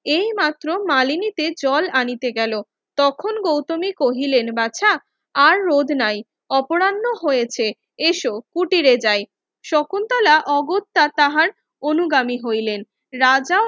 এই মাত্র মানালিতে জল আনিতে গেলো তখন গৌতমী কহিলেন বাছা আর রোধ নাই অপরাহ্ন হয়েছে এস কুটিরে যাই শকুন্তলা অগত্যা তাহার অনুগামী হইলেন রাজা